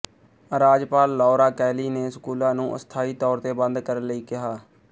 ਰਾਜਪਾਲ Laura Kelly ਨੇ ਸਕੂਲਾਂ ਨੂੰ ਅਸਥਾਈ ਤੌਰ ਤੇ ਬੰਦ ਕਰਨ ਲਈ ਕਿਹਾ